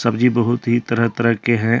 ये बहुत ही तरह तरह के हैं।